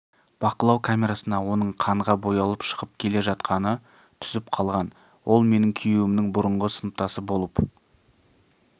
бақылау камерасына оның қанға боялып шығып келе жатқаны түсіп қалған ол менің күйеуімнің бұрынғы сыныптасы болып